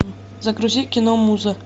загрузи кино муза